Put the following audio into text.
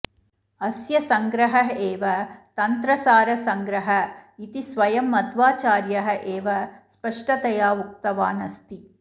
अस्य सङ्ग्रहः एव तन्त्रसारसङ्ग्रः इति स्वयं मध्वाचार्यः एव स्पष्टतया उक्तवान् अस्ति